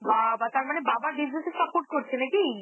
বাবা! তার মানে বাবার business এ support করছে নাকি?